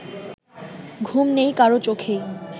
ঘুম নেই কারো চোখেই